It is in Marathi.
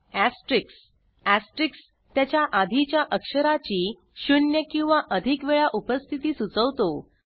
Asterisk एस्टेरिस्क त्याच्या आधीच्या अक्षराची शू्न्य किंवा अधिक वेळा उपस्थिती सुचवतो